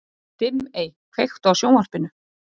Dimmey, kveiktu á sjónvarpinu.